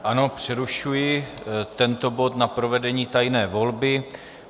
Ano přerušuji tento bod na provedení tajné volby.